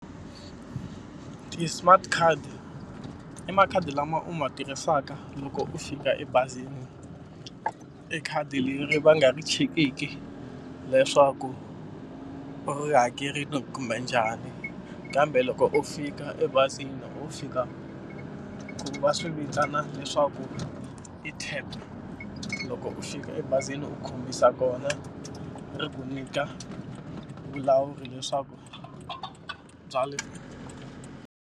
Ti-smart card i makhadi lama u ma tirhisaka loko u fika ebazini i khadi leri va nga ri chekiki leswaku u ri hakerile kumbe njhani kambe loko u fika ebazini u fika va swi vitana leswaku i tap loko u fika ebazini u khumbisa kona ri ku nyika vulawuri leswaku bya le.